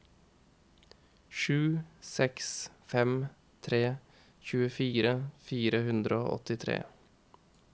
sju seks fem tre tjuefire fire hundre og åttitre